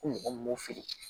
Ko mɔgɔ min m'o feere